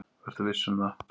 Vertu viss um það.